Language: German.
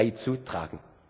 beizutragen.